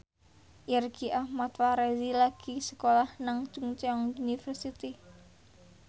Irgi Ahmad Fahrezi lagi sekolah nang Chungceong University